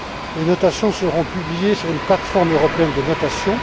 Les notations seront publiées sur une plate forme européenne de notation.